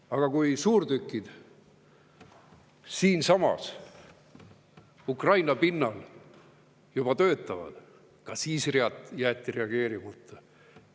Aga kui suurtükid siinsamas, Ukraina pinnal, juba töötasid, ka siis jäeti reageerimata.